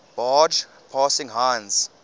barge passing heinz